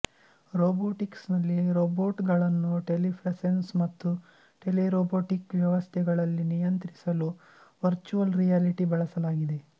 ರೊಬೊಟಿಕ್ಸ್ನಲ್ಲಿ ರೊಬೊಟ್ಗಳನ್ನು ಟೆಲಿಪ್ರೆಸೆನ್ಸ್ ಮತ್ತು ಟೆಲೆರೊಬೊಟಿಕ್ ವ್ಯವಸ್ಥೆಗಳಲ್ಲಿ ನಿಯಂತ್ರಿಸಲು ವರ್ಚುವಲ್ ರಿಯಾಲಿಟಿ ಬಳಸಲಾಗಿದೆ